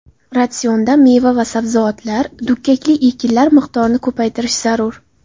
Ratsionda meva va sabzavotlar, dukkakli ekinlar miqdorini ko‘paytirish zarur.